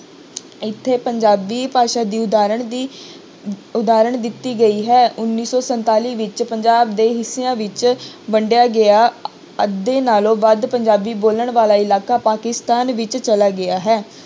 ਇੱਥੇ ਪੰਜਾਬੀ ਭਾਸ਼ਾ ਦੀ ਉਦਾਹਰਣ ਦੀ ਉਦਾਹਰਣ ਦਿੱਤੀ ਗਈ ਹੈ ਉੱਨੀ ਸੌ ਸੰਤਾਲੀ ਵਿੱਚ ਪੰਜਾਬ ਦੇ ਹਿੱਸਿਆਂ ਵਿੱਚ ਵੰਡਿਆ ਗਿਆ ਅੱਧੇ ਨਾਲੋਂ ਵੱਧ ਪੰਜਾਬੀ ਬੋਲਣ ਵਾਲਾ ਇਲਾਕਾ ਪਾਕਿਸਤਾਨ ਵਿੱਚ ਚਲਾ ਗਿਆ ਹੈ